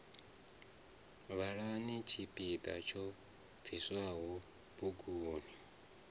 vhalani tshipiḓa tsho bviswaho buguni